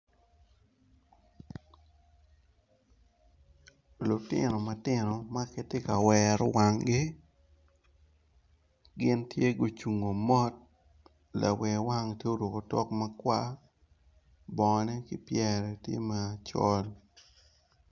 Lutino matino maki tye ka wero wangi gin tye gucungo mot lawer wang tye oruko tok makwar bongo ne ki pyere tye macol.